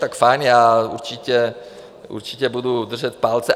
Tak fajn, já určitě budu držet palce.